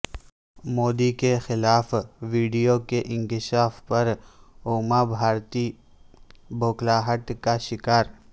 مودی کے خلاف ویڈیو کے انکشاف پر اوما بھارتی بھوکلاہٹ کا شکار